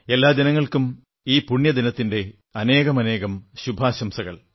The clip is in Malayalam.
എല്ലാ ജനങ്ങൾക്കും ഈ പുണ്യദിനത്തിന്റെ അനേകമനേകം ശുഭാശംസകൾ